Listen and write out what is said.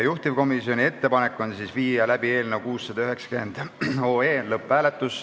Juhtivkomisjoni ettepanek on viia läbi eelnõu 690 lõpphääletus.